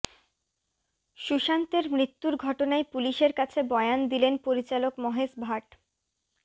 সুশান্তের মৃত্যুর ঘটনায় পুলিশের কাছে বয়ান দিলেন পরিচালক মহেশ ভাট